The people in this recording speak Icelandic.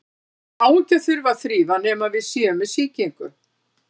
Nefið á ekki að þurfa að þrífa nema við séum með sýkingu.